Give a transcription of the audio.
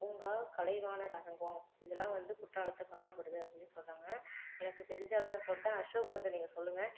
பூங்கா கலைவாணர் அரங்கம் இதெல்லாம் வந்து குற்றாலத்துல காணப்படுது அப்படிண்ணு சொல்றாங்க எனக்கு தெரிஞ்ச அளவு நான் சொல்லிட்டேன் அசோக் வந்து நீங்க சொல்லுங்க